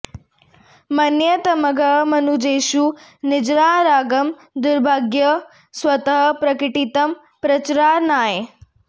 मन्ये तमद्य मनुजेषु निजानुरागं दृग्भ्यां स्वतः प्रकटितं प्रचुरञ्जनाय